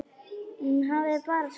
Hún hafði bara sagt satt.